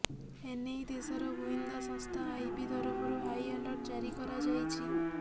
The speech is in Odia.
ଏନେଇ ଦେଶର ଗୁଇନ୍ଦା ସଂସ୍ଥା ଆଇବି ତରଫରୁ ହାଇ ଆଲର୍ଟ ଜାରି କରାଯାଇଛି